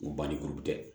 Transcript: Ko ban ni kuru tɛ